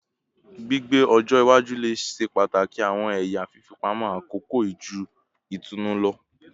Gbigbe ọjọ iwaju le ṣe pataki awọn ẹya fifipamọ akoko ju itunu lọ